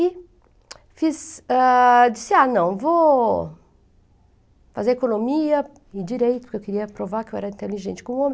E fiz, disse, ah, não, vou fazer economia e direito, porque eu queria provar que eu era inteligente como homem.